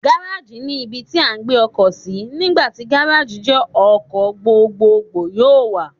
Gárájì ni ibi tí à ń gbé ọkọ̀ sí, nígbà tí Gárájì jẹ́ ọkọ̀ gbogbogbò yóò wà.